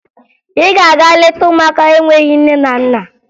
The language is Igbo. Ị ga-aga leta ụmụaka enweghi nne na nna